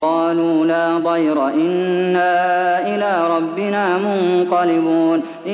قَالُوا لَا ضَيْرَ ۖ إِنَّا إِلَىٰ رَبِّنَا مُنقَلِبُونَ